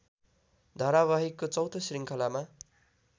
धारावाहिकको चौँथो श्रृङ्खलामा